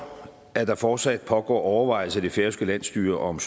at der fortsat pågår overvejelser i det færøske landsstyre om